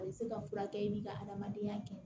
A bɛ se ka furakɛ i bɛ ka adamadenya kɛ